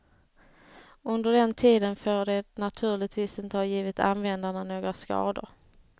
Under den tiden får det naturligtvis inte ha givit användarna några skador.